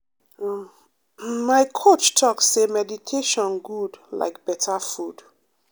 um my coach talk say meditation good like better food.